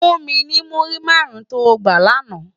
Fún mi ni múrí márùn tó gbá làná